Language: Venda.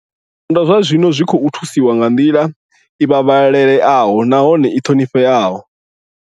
Zwipondwa zwa zwino zwi khou thusiwa nga nḓila i vhavhalelaho nahone i ṱhonifheaho.